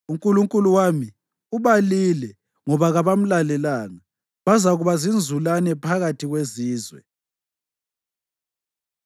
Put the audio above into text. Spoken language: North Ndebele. UNkulunkulu wami ubalile ngoba kabamlalelanga; bazakuba zinzulane phakathi kwezizwe.